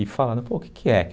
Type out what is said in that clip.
E falado, pô, o que que é?